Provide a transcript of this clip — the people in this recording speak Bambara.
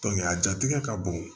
a jatigɛ ka bon